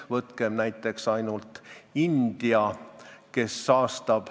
Võtkem näiteks India.